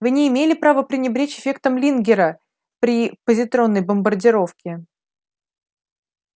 вы не имели права пренебречь эффектом лингера при позитронной бомбардировке